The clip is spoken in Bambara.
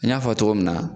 N y'a fɔ cogo min na